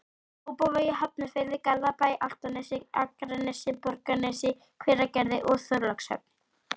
Kópavogi, Hafnarfirði, Garðabæ, Álftanesi, Akranesi, Borgarnesi, Hveragerði og Þorlákshöfn.